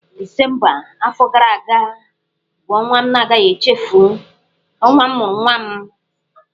Disemba afọ gara aga bụ ọnwa m na-agaghị echefu, ọnwa m mụrụ nwa m.